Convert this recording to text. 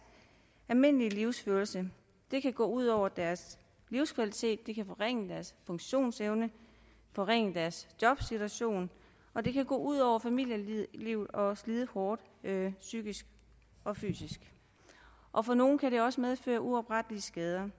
almindelige livsførelse det kan gå ud over deres livskvalitet forringe deres funktionsevne forringe deres jobsituation og det kan gå ud over familielivet og slide hårdt psykisk og fysisk og for nogle kan det også medføre uoprettelige skader